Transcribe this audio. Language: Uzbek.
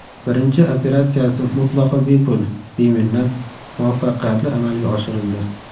Birinchi operatsiyasi mutlaqo bepul, beminnat, muvaffaqiyatli amalga oshirildi.